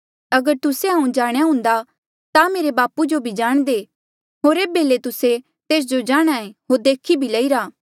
अगर तुस्से हांऊँ जाणेया हुन्दा ता मेरे बापू जो बी जाणदे होर एेबे ले तुस्से तेस जो जाणहां ऐें होर देखी भी लईरा